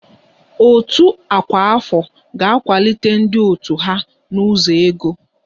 Òtù ọkwa afọ ga-akwado ndị òtù ha n'ụzọ ego